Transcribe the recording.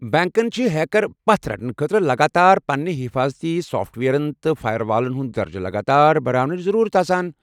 بنٛکن چھِ ہیكر پتھ رٹنہٕ خٲطرٕ لگاتار پنٕنہِ حٮ۪فاظتی سافٹ وییرن تہٕ فایروالن ہُند درجہٕ لگاتار بڈاونٕچ ضروٗرت آسان ۔